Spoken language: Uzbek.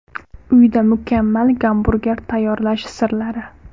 Uyda mukammal gamburger tayyorlash sirlari.